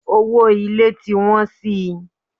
Owó ilé tí ń wọ́n si.